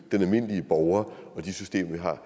den almindelige borger og det system vi har